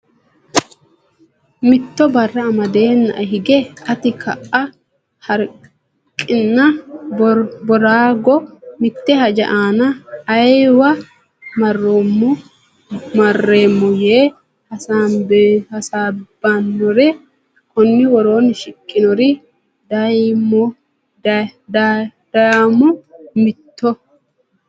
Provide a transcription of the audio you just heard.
Mitto barra amadeennae hige ate ka a Harqinna Boorago mitte haja aana ayeewa mareemmo yee hasaabbannore konni woroonni shiqinore dayommo Mitto.